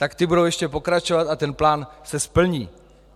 Tak ty budou ještě pokračovat a ten plán se splní.